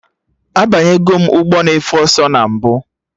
Abanyegom ụgbọ na efe ọsọ na mbụ